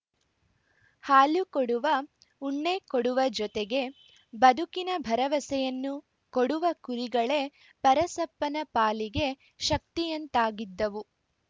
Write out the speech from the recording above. ಹಾಲು ಕೊಡುವ ಉಣ್ಣೆ ಕೊಡುವ ಜೊತೆಗೆ ಬದುಕಿನ ಬರವಸೆಯನ್ನು ಕೊಡುವ ಕುರಿಗಳೇ ಪರಸಪ್ಪನ ಪಾಲಿಗೆ ಶಕ್ತಿಯಂತಾಗಿದ್ದವು